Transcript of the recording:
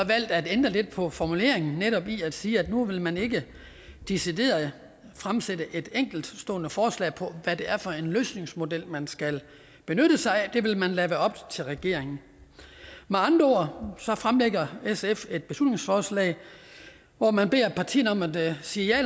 at ændre lidt på formuleringen netop i at sige at nu vil man ikke decideret fremsætte et enkeltstående forslag på hvad det er for en løsningsmodel man skal benytte sig af det vil man lade være op til regeringen med andre ord fremlægger sf et beslutningsforslag hvor man beder partierne om at sige ja